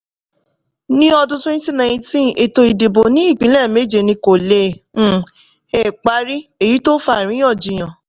ni ọdún twenty nineteen ètò ìdìbò ni ipinlẹ méje ní ko le um è parí èyí tó fa àríyànjiyàn.